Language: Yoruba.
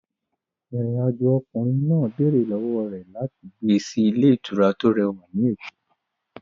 Ìrìn-àjò okòwò ọkùnrin náà béèrè lọ́wọ́ rẹ̀ láti gbé sí ilé ìtura tó rẹwà ní Èkó.